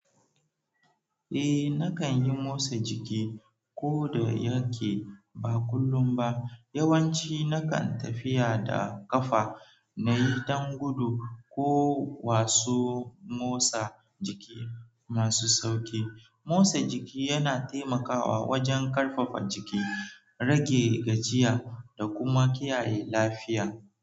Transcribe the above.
Eh, na kan yi motsa jiki ko da yake ba kullum ba. Yawanci na kan tafiya da ƙafa na yi dangudu ko wasu motsa jiki masu sauƙi. Motsa jiki yana taimakawa wajen ƙarfafa jiki, rage gajiya da kuma kiyaye lafiya.